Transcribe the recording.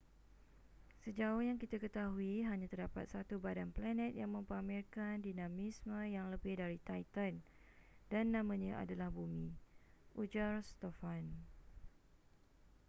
sejauh yang kita ketahui hanya terdapat satu badan planet yang mempamerkan dinamisme yang lebih dari titan dan namanya adalah bumi ujar stofan